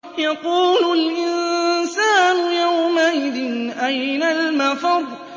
يَقُولُ الْإِنسَانُ يَوْمَئِذٍ أَيْنَ الْمَفَرُّ